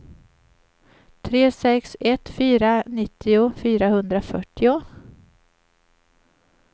tre sex ett fyra nittio fyrahundrafyrtio